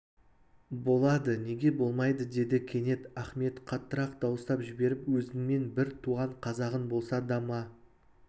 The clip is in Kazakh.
болады неге болмайды деді кенет ахмет қаттырақ дауыстап жіберіп өзіңмен бір туған қазағың болса да ма